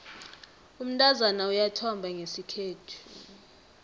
umntazana uyathomba ngesikhethu